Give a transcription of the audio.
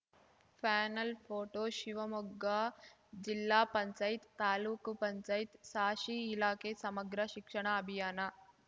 panel photo Shivamogga ಜಿಲ್ಲಾ ಪಂಚಾಯ್ತ್ ತಾಲೂಕ್ ಪಂಚಾಯ್ತ್ ಸಾಶಿ ಇಲಾಖೆ ಸಮಗ್ರ ಶಿಕ್ಷಣ ಅಭಿಯಾನ